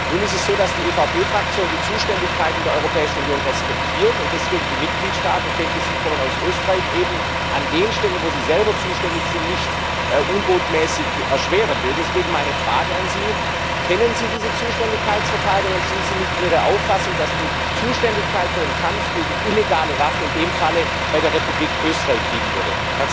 Nun ist es so, dass die EVP Fraktion die Zuständigkeiten der Europäischen Union respektiert und esdeswegen den Mitgliedstaaten ich denke, Sie kommen aus Österreich eben an den Stellen, wo sie selber zuständig sind, nicht unbotmäßig erschweren will deswegen meine Frage an Sie Kennen Sie diese Zuständigkeitsverteilung, und sind Sie mit mir der Auffassung, dass die Zuständigkeit für den Kampf gegen illegale Waffen in dem Falle bei der Republik Österreich liegen würde?